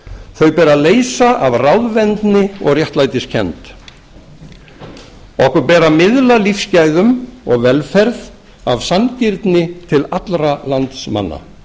þau ber að leysa af ráðvendni og réttlætiskennd okkur ber að miðla lífsgæðum og velferð af sanngirni til allra landsmanna